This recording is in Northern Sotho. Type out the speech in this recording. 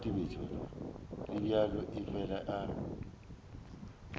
le bjalo o fela a